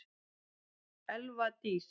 Elva Dís.